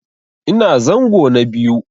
Ina zango na biyu.